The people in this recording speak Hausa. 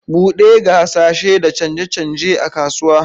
Buɗe ga hasashe da canje-canje a kasuwa.